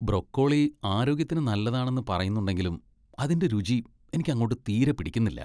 Broccoli ആരോഗ്യത്തിന് നല്ലതാണെന്ന് പറയുന്നുണ്ടെങ്കിലും അതിന്റെ രുചി എനിക്ക് അങ്ങോട്ട് തീരെ പിടിക്കുന്നില്ല.